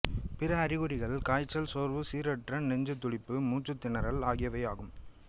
பிற அறிகுறிகள் காய்ச்சல் சோர்வு சீரற்ற நெஞ்சுத்துடிப்பு மூச்சுத் திணறல் ஆகியவையும் ஆகும்